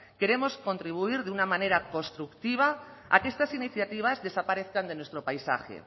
queremos contribuir de una manera constructiva a que estas iniciativas desaparezcan de nuestro paisaje